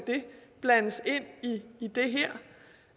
blandes ind i det